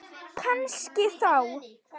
Kannski þá.